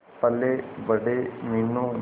पलेबड़े Meenu